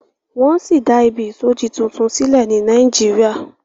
wón sí dá Ìbí isodi títún sílè ní Nàìjíríà.